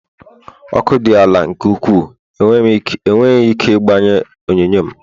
Ọkụ dị ala nke ukwuu enweghị ike igbanye onyonyo m